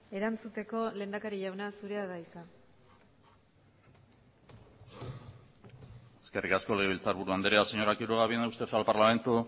erantzuteko lehendakari jauna zurea da hitza eskerrik asko legebiltzarburu andrea señora quiroga viene usted al parlamento